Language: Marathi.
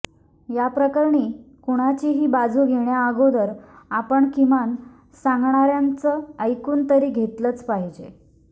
या प्रकरणी कुणाचीही बाजू घेण्याअगोदर आपण किमान सांगणाऱ्याचं ऐकून तरी घेतलंच पाहिजे